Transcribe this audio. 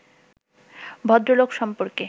ভদ্রলোক সম্পর্কে